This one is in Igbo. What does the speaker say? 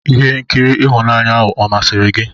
Ihe nkiri ihunanya ahụ ọ masịrị gị?